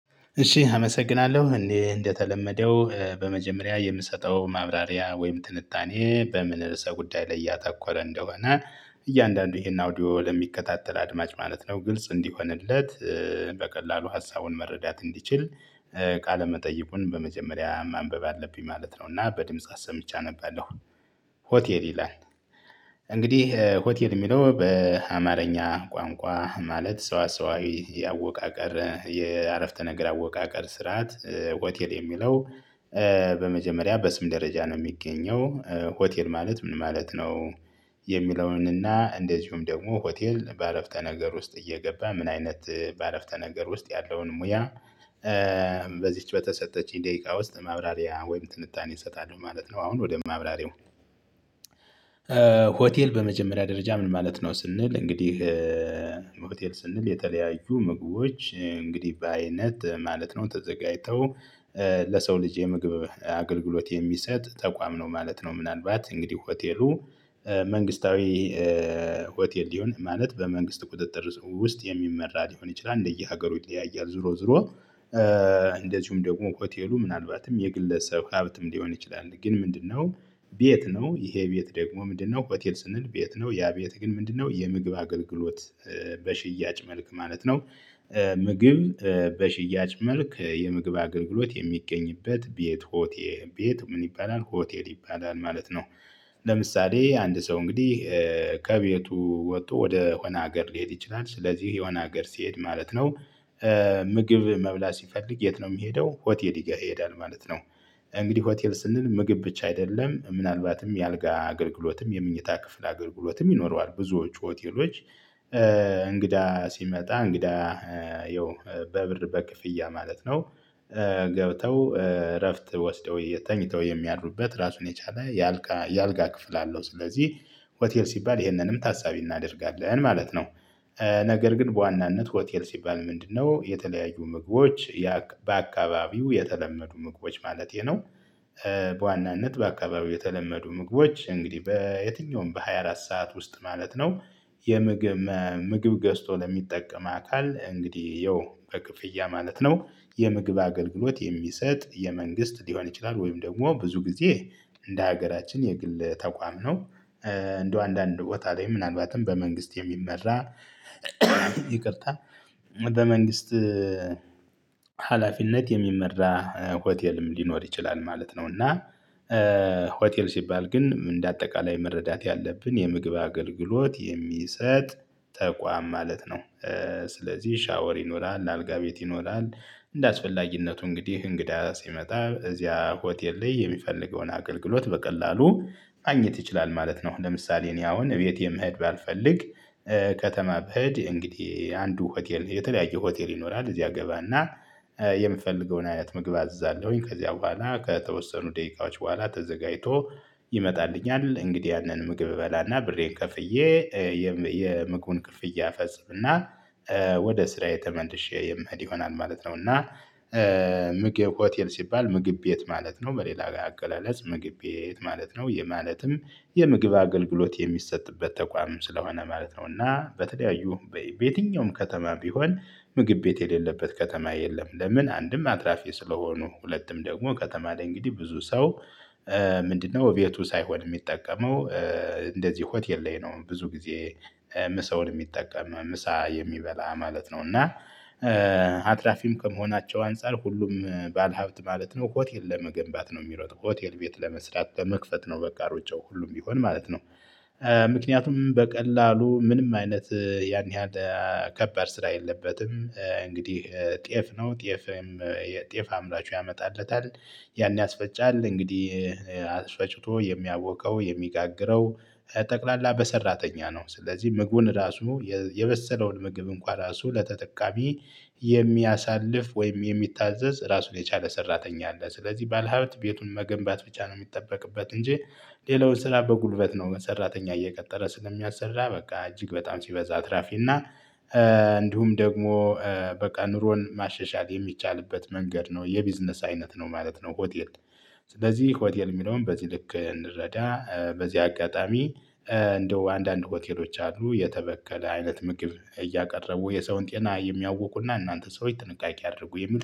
እሺ አመሰግናለሁ እንዴ እንደተለመደው በመጀመሪያ የምሰጠው ማብራሪያ ወይም ትንታኔ በምን ርዕሰ ጉዳይ ላይ ያተኮረ እንደሆነ እያንዳንዱ ይሄን አውዲዮ ለሚከታተል አድማጭ ማለት ነው ግልጽ እንዲሆንለት። በቀላሉ ሀሳቡን መረዳት እንዲችል። ቃለ መጠይቁን በመጀመሪያ ማንበብ አለብኝ ማለት ነው እና በድምጽ አስምቼ አነባለሁ። ሆቴል ይላል። እንግዲህ ሆቴል የሚለው በአማርኛ ቋንቋ ማለት ሰው ሰዋስዋዊ ያወቃቀር የአረፍተ ነገር አወቃቀር ስርዓት ሆቴል የሚለው። በመጀመሪያ በስም ደረጃ ነው የሚገኘው። ሆቴል ማለት ምን ማለት ነው? የሚለውንና እንደዚሁም ደግሞ ሆቴል በአረፍተ ነገር ውስጥ እየገባ ምን አይነት በአረፍተ ነገር ውስጥ ያለውን ሙያ። በዚች በተሰጠችኝ ደቂቃ ውስጥ ማብራሪያ ወይም ትንታኔ እሰጣለሁ ማለት ነው። አሁን ወደ ማብራሪው። ሆቴል በመጀመሪያ ደረጃ ምን ማለት ነው ስንል እንግዲህ። ሆቴል ስንል የተለያዩ ምግቦች እንግዲህ በአይነት ማለት ነው ተዘጋጅተው። ለሰው ልጅ የምግብ አገልግሎት የሚሰጥ ተቋም ነው ማለት ነው። ምናልባት እንግዲህ ሆቴሉ መንግስታዊ ሆቴል ሊሆን ማለት በመንግስት ቁጥጥር ውስጥ የሚመራ ሊሆን ይችላል እንደየሀገሩ ይለያያል ዙሮ ዙሮ። እንደዚሁም ደግሞ ሆቴሉ ምናልባትም የግለሰብ ሀብትም ሊሆን ይችላል። ግን ምንድነው? ቤት ነው። ይሄ ቤት ደግሞ ምንድነው? ሆቴል ስንል ቤት ነው። ያ ቤት ግን ምንድነው? የምግብ አገልግሎት። በሽያጭ መልክ ማለት ነው። ምግብ በሽያጭ መልክ የምግብ አገልግሎት የሚገኝበት ቤት ሆቴ ቤት ምን ይባላል ሆቴል ይባላል ማለት ነው። ለምሳሌ አንድ ሰው እንግዲህ። ከቤቱ ወጥቶ ወደ ሆነ ሀገር ሊሄድ ይችላል ስለዚህ የሆነ ሀገር ሲሄድ ማለት ነው። ምግብ መብላት ሲፈልግ የት ነው የሚሄደው? ሆቴል ይሄዳል ማለት ነው። እንግዲህ ሆቴል ስንል ምግብ ብቻ አይደለም ምናልባትም የአልጋ አገልግሎትም የመኝታ ክፍል አገልግሎትም ይኖረዋል ብዙዎቹ ሆቴሎች። እንግዳ ሲመጣ እንግዳ ያው በብር በክፍያ ማለት ነው። ገብተው እረፍት ወስደው ተኝተው የሚያድሩበት ራሱን የቻለ። የአልጋ ክፍል አለው ስለዚህ ሆቴል ሲባል ይህንንም ታሳቢ እናደርጋለን ማለት ነው። ነገር ግን በዋናነት ሆቴል ሲባል ምንድነው? የተለያዩ ምግቦች የአ በአካባቢው የተለመዱ ምግቦች ማለቴ ነው። በዋናነት በአካባቢው የተለመዱ ምግቦች እንግዲህ በየትኛውም በሃያ አራት ሰዓት ውስጥ ማለት ነው። የምግብ ምግብ ገዝቶ ለሚጠቀም አካል እንግዲህ ይኸው በክፍያ ማለት ነው። የምግብ አገልግሎት የሚሰጥ የመንግስት ሊሆን ይችላል ወይም ደግሞ ብዙ ጊዜ እንደ ሀገራችን የግል ተቋም ነው። እንደው አንዳንድ ቦታ ላይ ምናልባትም በመንግስት የሚመራ። ይቅርታ። በመንግስት ሀላፊነት የሚመራ ሆቴልም ሊኖር ይችላል ማለት ነው። እና ሆቴል ሲባል ግን እንደ አጠቃላይ መረዳት ያለብን የምግብ አገልግሎት የሚሰጥ ተቋም ማለት ነው። ስለዚህ ሻወር ይኖራል አልጋ ቤት ይኖራል። እንደአስፈላጊነቱ እንግዲህ እንግዳ ሲመጣ እዚያ ሆቴል ላይ የሚፈልገውን አገልግሎት በቀላሉ ማግኘት ይችላል ማለት ነው። ለምሳሌ እኔ አሁን እቤቴ መሄድ ባልፈልግ። ከተማ ብሄድ እንግዲህ አንዱ ሆቴል የተለያየ ሆቴል ይኖራል እዚያ ገባና። የምፈልገውን አይነት ምግብ አዝዛለሁኝ ከዚያ በኋላ ከተወሰኑ ደቂቃዎች በኋላ ተዘጋጅቶ ይመጣልኛል እንግዲህ ያንን ምግብ እበላና ብሬን ከፍዬ። የምግቡን ክፍያ እፈጽም እና ወደ ስራዬ ተመለሼ የምኅድ ይሆናል ማለት ነው። እና ምግብ ሆቴል ሲባል ምግብ ቤት ማለት ነው። በሌላ አገላለጽ ምግብ ቤት ማለት ነው። የማለትም የምግብ አገልግሎት የሚሰጥበት ተቋም ስለሆነ ማለት ነውና በተለያዩ በየትኛውም ከተማ ቢሆን። ምግብ ቤት የሌለበት ከተማ የለም። ለምን አንድም አትራፊ ስለሆኑ ሁለትም ደግሞ ከተማ ላይ እንግዲህ ብዙ ሰው። ምንድነው? እቤቱ ሳይሆን የሚጠቀመው? እንደዚህ ሆቴል ላይ ነው ብዙ ጊዜ። ምሳውን የሚጠቀም ምሳ የሚበላ ማለት ነው እና። አትራፊም ከመሆናቸው አንፃር ሁሉም ባለሀብት ማለት ነው ሆቴል ለመገንባት ነው የሚሮጥ ሆቴል ቤት ለመስራት ለመክፈት ነው በቃ ሩጫው ሁሉም ቢሆን ማለት ነው። ምክንያቱም በቀላሉ ምንም አይነት ያን ያህል። ከባድ ስራ የለበትም እንግዲህ ጤፍ ነው ጤፍም የጤፍ አምራቹ ያመጣለታል። ያን ያስፈጫል እንግዲህ አስፈጭቶ የሚያቦካው የሚጋግረው። ጠቅላላ በሰራተኛ ነው ስለዚህ ምግቡን ራሱ የበሰለውን ምግብ እንኳን ራሱ ለተጠቃሚ። የሚያሳልፍ ወይም የሚታዘዝ ራሱን የቻለ ሰራተኛ አለ። ስለዚህ ባለሀብት ቤቱን መገንባት ብቻ ነው የሚጠበቅበት እንጂ። ሌላው ስራ በጉልበት ነው በሰራተኛ እየቀጠረ ስለሚያሰራ በቃ እጅግ በጣም ሲበዛ አትራፊ እና። እንዲሁም ደግሞ በቃ ኑሮን ማሸሻል የሚቻልበት መንገድ ነው። የቢዝነስ አይነት ነው ማለት ነው ሆቴል። ስለዚህ ሆቴል የሚለውን በዚህ ልክ እንረዳ በዚህ አጋጣሚ። እንደው አንዳንድ ሆቴሎች አሉ የተበከለ አይነት ምግብ እያቀረቡ የሰውን ጤና የሚያውኩና እናንተ ሰዎች ጥንቃቄ አድርጉ